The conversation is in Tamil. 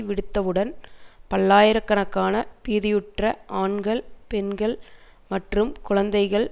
விடுத்தவுடன் பல்லாயிர கணக்கான பீதியுற்ற ஆண்கள் பெண்கள் மற்றும் குழந்தைகள்